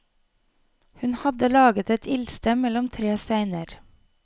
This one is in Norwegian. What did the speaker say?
Hun hadde laget et ildsted mellom tre steiner.